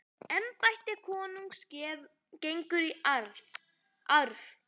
Embætti konungs gengur í arf.